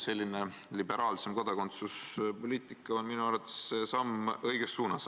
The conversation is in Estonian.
Selline liberaalsem kodakondsuspoliitika on minu arvates samm õiges suunas.